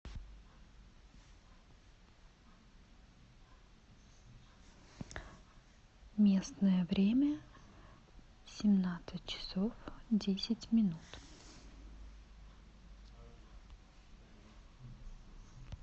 местное время семнадцать часов десять минут